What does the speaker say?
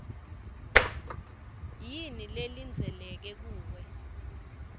yini lelindzeleke kuwe